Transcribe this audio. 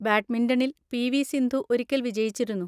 ബാഡ്മിന്‍റണിൽ പി.വി.സിന്ധു ഒരിക്കൽ വിജയിച്ചിരുന്നു.